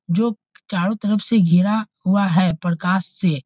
जो चारों तरफ से घिरा हुआ है प्रकाश से।